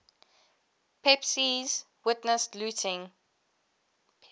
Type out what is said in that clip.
pepys witnessed looting